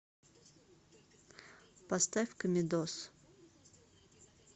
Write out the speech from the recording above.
поставь комедоз